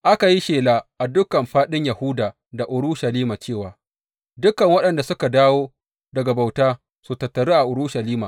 Aka yi shela a duk fāɗin Yahuda da Urushalima cewa dukan waɗanda suka dawo daga bauta su tattaru a Urushalima.